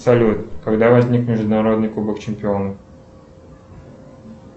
салют когда возник международный кубок чемпионов